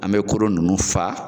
An me koro nunnu faa